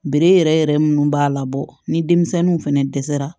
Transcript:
Bere yɛrɛ yɛrɛ munnu b'a labɔ ni denmisɛnninw fɛnɛ dɛsɛra